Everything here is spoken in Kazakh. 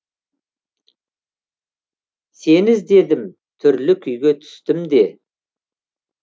сені іздедім түрлі күйге түстім де